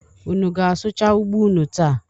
Unu ga-asụcha ugbo unu taa?